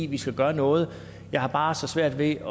vi skal gøre noget jeg har bare så svært ved